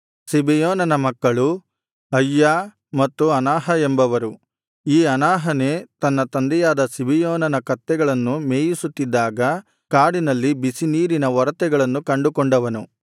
ಸಿಬೆಯೋನನ ಮಕ್ಕಳು ಅಯ್ಯಾ ಮತ್ತು ಅನಾಹ ಎಂಬವರು ಈ ಅನಾಹನೇ ತನ್ನ ತಂದೆಯಾದ ಸಿಬಿಯೋನನ ಕತ್ತೆಗಳನ್ನು ಮೇಯಿಸುತ್ತಿದ್ದಾಗ ಕಾಡಿನಲ್ಲಿ ಬಿಸಿ ನೀರಿನ ಒರತೆಗಳನ್ನು ಕಂಡುಕೊಂಡವನು